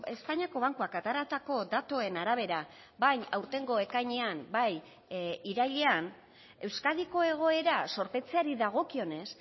espainiako bankuak ateratako datuen arabera bai aurtengo ekainean bai irailean euskadiko egoera zorpetzeari dagokionez